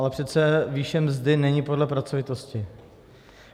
Ale přece výše mzdy není podle pracovitosti.